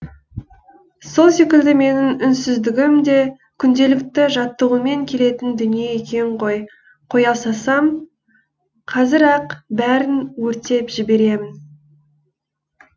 сол секілді менің үнсіздігім де күнделікті жаттығумен келетін дүние екен ғой қоя салсам қазір ақ бәрін өртеп жіберемін